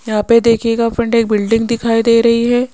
यहां पे देखिएगा फ्रंट एक बिल्डिंग दिखाई दे रही है।